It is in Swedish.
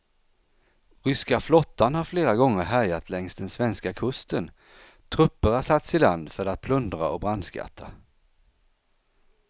Ryska flottan har flera gånger härjat längs den svenska kusten, trupper har satts i land för att plundra och brandskatta.